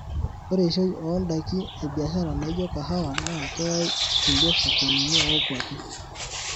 Ore eishoi oo ndaki ebiashara naijo kahawa naa keyai ikulie sokonini oo kwapi.